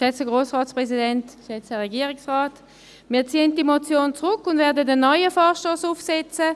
Wir ziehen die Motion zurück und werden einen neuen Vorstoss aufzusetzen.